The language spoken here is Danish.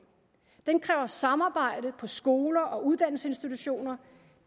den kræver samarbejde på skoler og uddannelsesinstitutioner